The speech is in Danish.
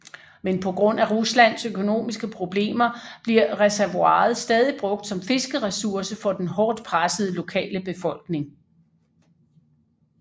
Men på grund af Ruslands økonomiske problemer bliver reservoiret stadig brugt som fiskeressource for den hårdt pressede lokale befolkning